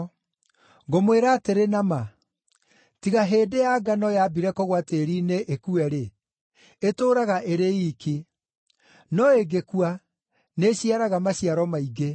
Ngũmwĩra atĩrĩ na ma, tiga hĩndĩ ya ngano yambire kũgũa tĩĩri-inĩ ĩkue-rĩ, ĩtũũraga ĩrĩ iiki. No ĩngĩkua, nĩĩciaraga maciaro maingĩ.